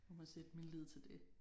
Jeg må sætte min lid til det